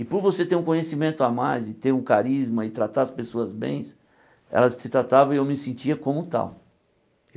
E por você ter um conhecimento a mais e ter um carisma e tratar as pessoas bem, elas te tratavam e eu me sentia como tal.